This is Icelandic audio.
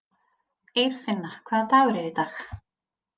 Eirfinna, hvaða dagur er í dag?